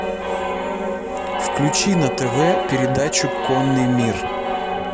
включи на тв передачу конный мир